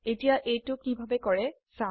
এতিয়া এইটো কিভাবে কৰে চাও